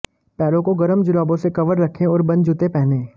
पैरों को गर्म जुराबों से कवर रखें और बंद जूते पहनें